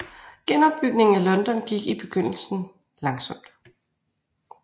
Genopbygningen af London gik i begyndelsen langsomt